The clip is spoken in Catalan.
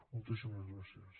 moltíssimes gràcies